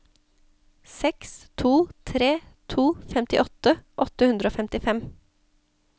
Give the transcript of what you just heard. seks to tre to femtiåtte åtte hundre og femtifem